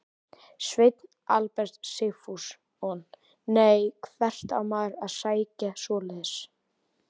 Sveinn Albert Sigfússon: Nei, hvert á maður að sækja svoleiðis?